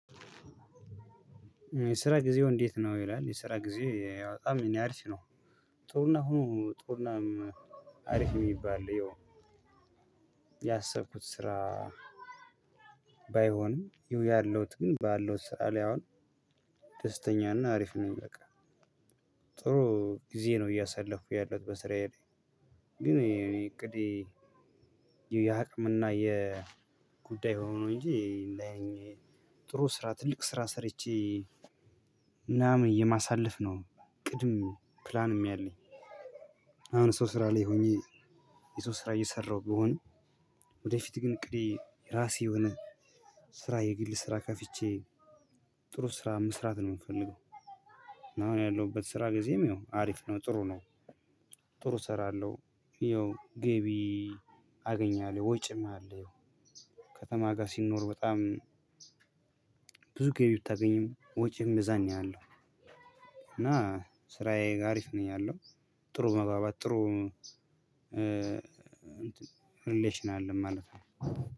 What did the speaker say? የስራ ጊዜው እንዴት ነው ይላል የስራ ጊዜ በጣም የእኔ አሪፍ ነው። ጥሩና ሆኖ ጥሩና አሪፍ የሚባል ያው። ያሰብኩት ስራ። ባይሆንም ያለውት ግን ባለው ስራ ላይ አሁን ደስተኛ ነኝ አሪፍ ነኝ በቃ። ጥሩ ጊዜ ነው እያሰለፍኩ ያለውት በስራዬ ላይ። ግን እኔ እቅዴ የአቅምና የጉዳይ ሆኖ እንጂ። ጥሩ ስራ ትልቅ ስራ ሰርቼ ምናምን የማሳለፍ ነው ቅድም ፕላንም ያለኝ። አሁን ሰው ስራ ላይ ሁኘ የሰው ስራ አየሰራው ብሆንም። ወደፊት ግን አቅዴ የራሴ የሆነ ስራ የግል ስራ ከፍቼ ጥሩ ስራ መስራት ነው የምፈልገው። አሁን ያለሁበት ስራ ጊዜም ያው አሪፍ ነው ጥሩ ነው። ጥሩ እሰራለሁ ያው ገቢ አገኛለሁ ወጪም አለው። ከተማ ጋ ሲኖር በጣም ብዙ ገቢ ብታገኝም ወጪህም የዛን ያህል ነው። እና ስራዬ አሪፍ ነው ያለው። ጥሩ መግባባት ጥሩ ሪሌሽን አለን ማለት ነው።